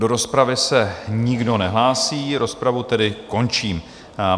Do rozpravy se nikdo nehlásí, rozpravu tedy končím.